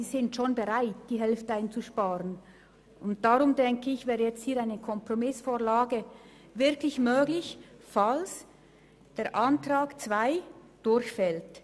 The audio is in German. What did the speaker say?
Das sind bereits Sparmassnahmen, und ich denke, hier wäre eine Kompromissvorlage wirklich möglich, falls der Antrag 2 durchfällt.